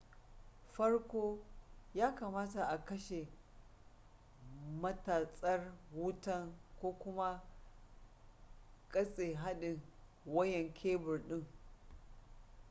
farko ya kamata a kashe matatsar wutan ko kuma katse hadin wayan kebur din